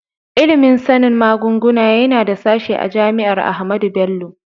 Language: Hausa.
Ilimin sanin magunguna yana da sashe a jami'ar Ahmadu Bello.